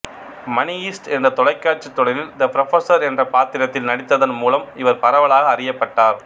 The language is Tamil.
மணி ஹெய்ஸ்ட்என்ற தொலைக்காட்சித் தொடரில் தெ புரொபசர் என்ற பாத்திரத்தில் நடித்ததன் மூலம் இவர் பரவலாக அறியப்பட்டார்